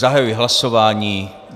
Zahajuji hlasování.